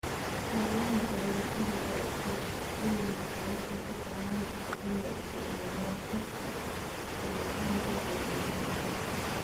Hawlaha beerashada ee iskaashatooyinka waxay u badan tahay inay isticmaalaan xogta falanqaynta horumarsan.